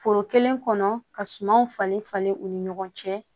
Foro kelen kɔnɔ ka sumanw falen falen u ni ɲɔgɔn cɛ